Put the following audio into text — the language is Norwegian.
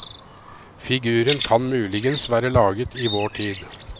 Figuren kan muligens være laget i vår tid.